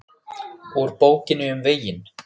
Úr Bókinni um veginn